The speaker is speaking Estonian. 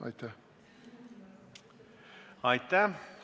Aitäh!